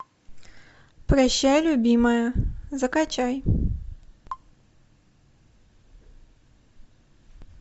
прощай любимая закачай